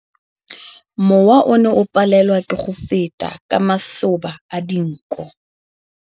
Mowa o ne o palelwa ke go feta ka masoba a dinko.